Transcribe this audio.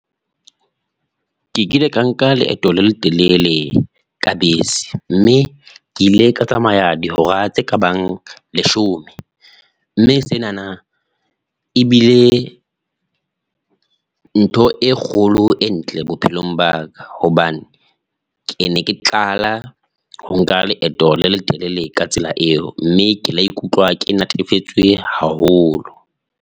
Ke kile ka nka leeto le letelele ka bese, mme ke ile ka tsamaya dihora tse ka bang leshome, mme senana e bile, ntho e kgolo e ntle bophelong ba ka, hobane ke ne ke qala ho nka leeto le letelele ka tsela eo, mme ke la ikutlwa ke natefetswe haholo.